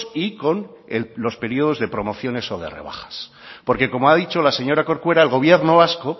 y con los periodos de promociones o de rebajas porque como ha dicho la señora corcuera el gobierno vasco